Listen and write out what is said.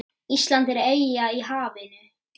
Ísland er eyja í hafinu.